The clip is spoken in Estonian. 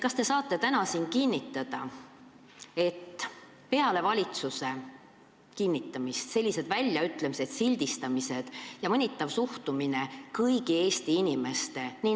Kas te saate täna siin kinnitada, et peale valitsuse kinnitamist sellised väljaütlemised, sildistamised ja mõnitav suhtumine paljudesse Eesti inimestesse lõpeb?